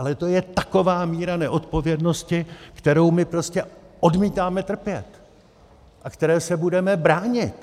Ale to je taková míra neodpovědnosti, kterou my prostě odmítáme trpět a které se budeme bránit!